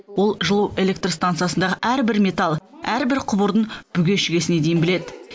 ол жылу электрстансасындағы әрбір металл әрбір құбырдың бүге шүгесіне дейін біледі